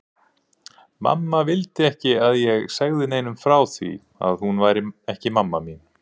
Mamma vildi ekki að ég segði neinum frá því að hún væri ekki mamma mín.